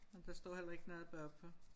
Ej der står heller ikke noget bagpå